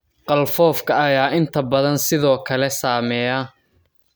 Qalfoofka ayaa inta badan sidoo kale saameeya.